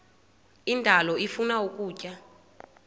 indalo ifuna ukutya